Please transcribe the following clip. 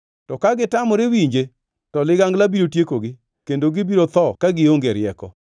To ka gitamore winje, to ligangla biro tiekogi, kendo gibiro tho ka gionge rieko.